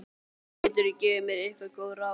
Geturðu gefið mér einhver góð ráð?